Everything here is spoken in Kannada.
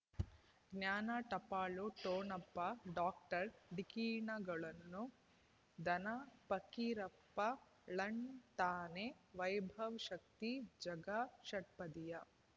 ಜ್ಞಾನ ಟಪಾಲು ಠೊಣಪ ಡಾಕ್ಟರ್ ಢಿಕ್ಕಿ ಣಗಳನು ಧನ ಫಕೀರಪ್ಪ ಳಂತಾನೆ ವೈಭವ್ ಶಕ್ತಿ ಝಗಾ ಷಟ್ಪದಿಯ